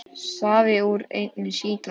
Safi úr einni sítrónu